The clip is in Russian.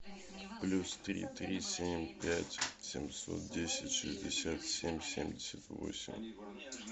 плюс три три семь пять семьсот десять шестьдесят семь семьдесят восемь